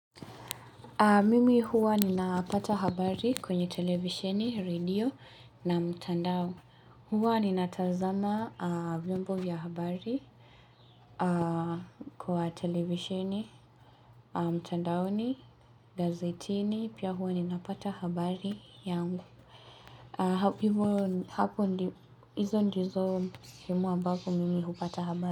Mimi huwa ninapata habari kwenye televisheni, radio na mtandao. Huwa ninatazama vyombo vya habari Kwa televisheni, mtandaoni, gazetini, pia huwa ninapata habari yangu Hapo hizo ndizo vyombo ambavyo mimi hupata habari.